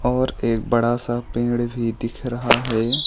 और एक बड़ा सा पेड़ भी दिख रहा है।